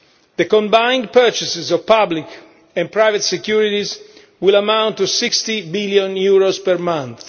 The combined purchases of public and private securities will amount to EUR 60 billion per month.